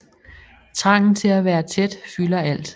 Trangen til at være tæt fylder alt